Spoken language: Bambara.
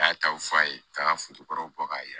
A y'a taw f'a ye k'a ka kɔrɔ bɔ k'a ye